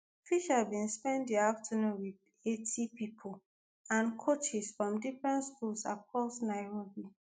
fisher bin spend di afternoon wit 80 young pipo and coaches from different schools across nairobi.